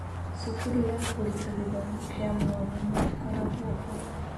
Cukuru ya Kũruta Gĩthomo kĩa mwanya nĩ ĩkoragwo ho.